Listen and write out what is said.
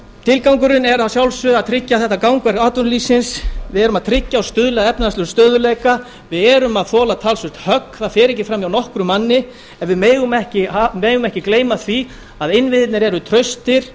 tilgangurinn er að sjálfsögðu að tryggja þetta gangverk atvinnulífsins við erum að tryggja og stuðla að efnahagslegum stöðugleika við erum að þola talsvert högg það fer ekki fram hjá nokkrum manni en við megum ekki gleyma því að innviðirnir eru traustir